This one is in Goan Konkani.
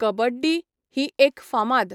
कबड्डी ही एक फामाद